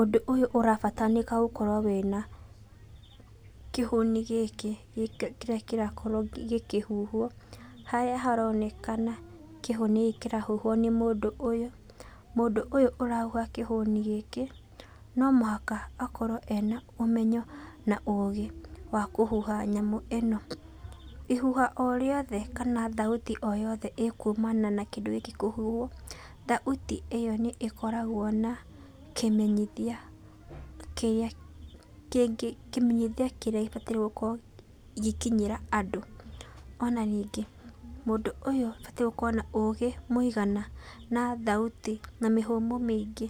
Ũndũ ũyũ ũrabataranĩka gũkorwo wĩ na kĩhuni gĩkĩ kĩrĩa kĩrakorwo gĩkĩhuhwo, harĩa haronekana kĩhuni gĩkĩ kĩrahuhwo nĩ mũndũ ũyũ. Mũndũ ũyũ ũrahuha kĩhũni gĩkĩ no mũhaka akorwo ena ũmenyo na ũgĩ wa kũhuha nyamũ ĩno. Ihuha o rĩothe kana thauti o yothe ĩkumana na kĩndũ gĩkĩ kũhuhwo, thauti ĩyo nĩkoragwo na kĩmenyithia kĩrĩa gĩbatairwo gũkorwo gĩgĩkinyĩra andũ. Ona ningĩ mũndũ ũyũ abatiĩ gũkorwo arĩ na ũgĩ mũigana na thauti na mĩhũmũ mĩingĩ,